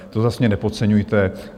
To zas mě nepodceňujte.